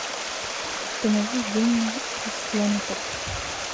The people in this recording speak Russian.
установи винни и слонотоп